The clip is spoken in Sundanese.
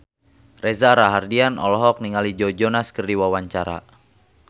Reza Rahardian olohok ningali Joe Jonas keur diwawancara